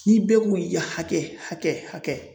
Ni bɛɛ k'u y'a hakɛ hakɛ hakɛ